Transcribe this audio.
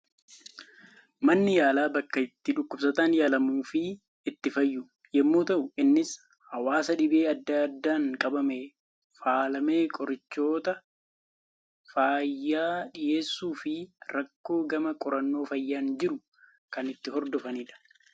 Manni yaalaa, bakka itti dhukkubsataan yaalamuu fi itti fayyu, yemmuu ta'u innis hawaasa dhibee addaa addaan qabamee faalame qorichoota fayyaa dhiheessuu fi rakkoo gama qorannoo fayyaan jiru kan itt hordofanidha.